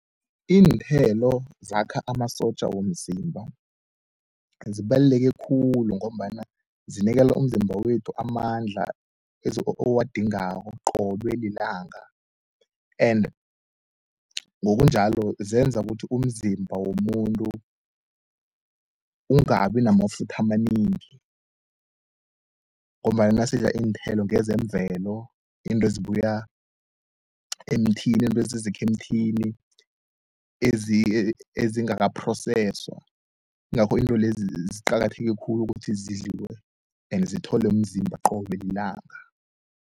Iinthelo zakha amasotja womzimba zibaluleke khulu, ngombana zinikela umzimba wethu amandla owadingako qobe lilanga. And ngokunjalo zenza ukuthi umzimba womuntu ungabi namafutha amanengi, ngombana nasidla iinthelo ngezemvelo. Izinto ezibuya emthini, izinto esizikha emthini ezingakaphroseswa. Ingakho izinto lezi ziqakatheke khulu ukuthi zidliwe and zitholwe mzimba qobe lilanga.